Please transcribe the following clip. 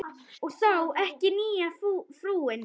Og þá ekki nýja frúin.